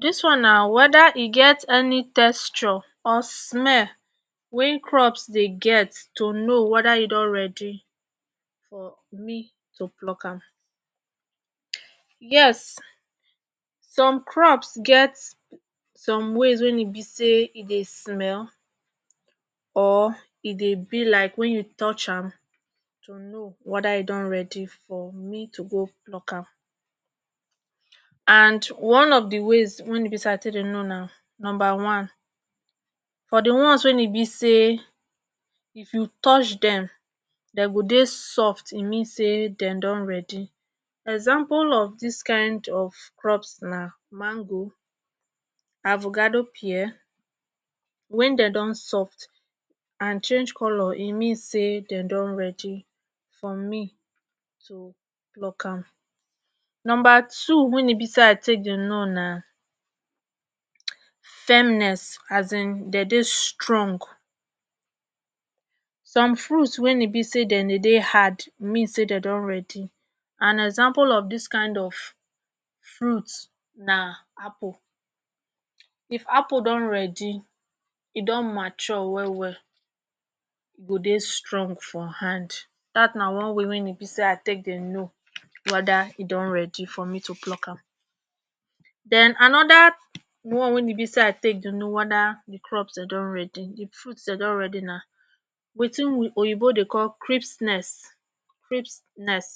dis one na weda e get any testure or smell wen crops dey get to know weda e don ready for me to pluck am yes some crops get some ways wein e be say e dey smell or e dey be like wen you touch am to no weda e don ready for me to go pluck am and one of the ways wein e be say i take dey know na number one for di ones wein e be say if you touch dem dey go dey soft e mean say den don ready example of dis kind of crops na mango avogado pear wen den don soft and change color e mean say den don ready for me to pluck am number 2 wen e be say i take dey know na firmness asin de dey strong some fruits wein be say den dey hard mean say den don ready and example of dis kind of fruits na apple if apple don ready e don mature well well e go dey strong for hand dat na one way wein be say i take dey no weda e don ready for me to pluck am den anoda one wein e be say i take dey no wanda di crops den don ready di fruit na wetin oyibo dey call cripsness cripsness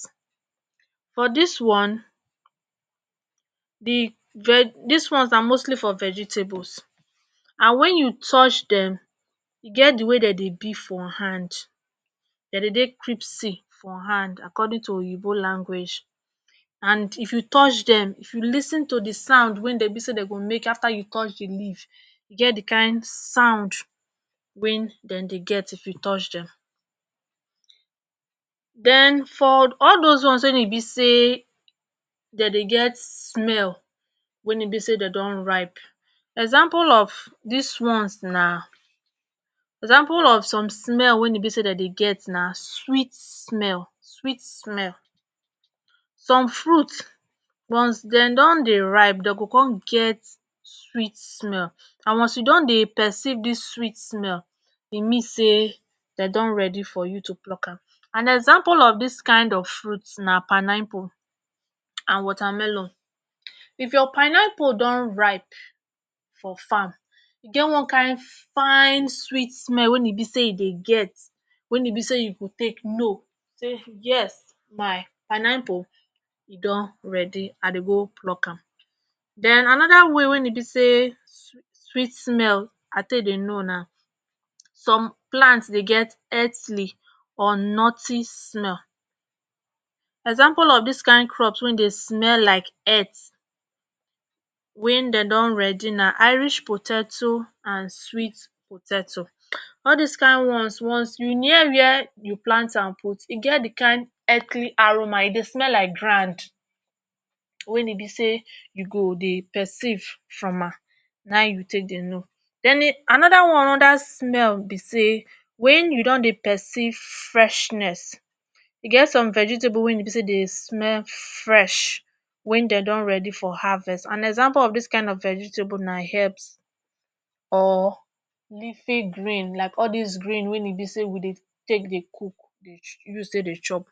for dis one di ve dis one na mostly for vegetables and wen you touch dem e get di way den dey be for hand de dey dey crispy for hand according to oyinbo language and if you touch dem if you lis ten to di sound wen dem be say dem go make after you touch di leave e get di kind sound wen den dey get if you touch dem den for all dose ones wen e be say de dey get smell wen e be say dey don ripe example of dis ones na example of some smell wen e be say den dey get na sweet smell sweet smell some fruits ones den don dey ripe dey go come get sweet smell and ones you don dey perceive dis sweet smell e mean say den don ready for you to pluck am and example of dis kind of fruits na panaipu and watermelon if your panaipu don ripe for farm e get one kind fine sweet smell wen e be say e dey get wen e be say you go take no say yes my panaipu e don read I dey go pluck am den anoda way wen e be say sweet smell i take dey no na some plants dey get earthly or noty smell example of dis kind crops wey dey smell wey dey smell like earth wen den don ready na irish poteto and sweet poteto all dis kin ones once you near were you plant am put e get di kin earthly aroma e dey smell like grand wen e be say you go dey perceive from am nai you take dey no deni anoda one anoda smell be say wen you don dey perceive freshness e get some vegetable wen e be say dey smell fresh wen den don ready for harvest and example of dis kind of vegetable na herbs or leafy green like all dis green wen e be say we dey take dey cook dey chu dey use take dey chop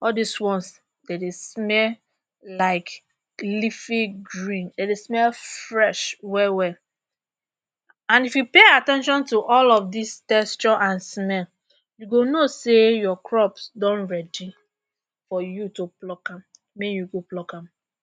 all dis ones den dey smell like leafy green den dey smell fresh well well and if you pay at ten tion to all of dis texture and smell you go know say your crops don ready for you to pluck am may you go pluck am